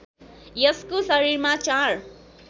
यसको शरीरमा चार